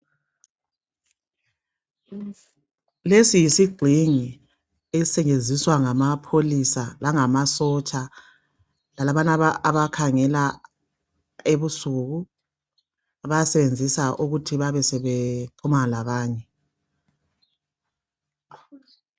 Lesi yisigxingi esisetshenziswa ngamapholisa langamasotsha lalabana abakhangela ebusuku abasebenzisa ukuthi basebekhuluma labanye.